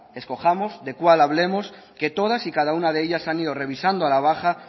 escojamos de cual hablemos que todas y cada una de ellas se han ido revisando a la baja